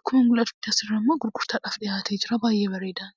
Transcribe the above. akkuma mul'atutti gurgurtaadhaaf kan dhiyaatee jirudha.